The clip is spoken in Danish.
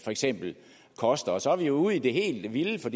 for eksempel koster og så er vi jo ude i det helt vilde for